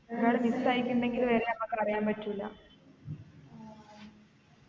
ഒരാൾ miss ആയിക്കുണ്ടെങ്കില് വരെ നമ്മക്ക് അറിയാൻ പറ്റൂല